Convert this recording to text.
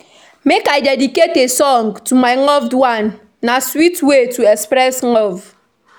Make I dedicate a song to my loved one; na sweet way to express love.